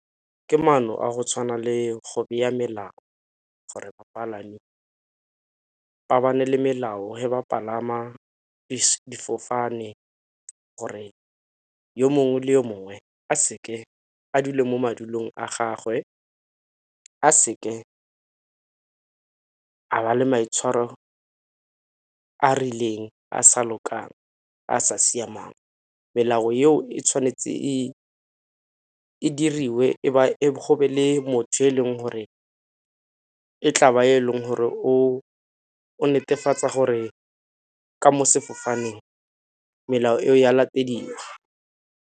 Ke maano a go tshwana le go melao gore bapalami le melao he ba palama difofane gore yo mongwe le yo mongwe a seke, a dule mo madulong a gagwe, a seke a ba le maitshwaro a a rileng a a sa lokang a a sa siamang. Melao eo e tshwanetse e, e diriwe go be le motho yo e leng gore e tla ba e leng gore o netefatsa gore ka mo sefofaneng melao eo e a latediwa.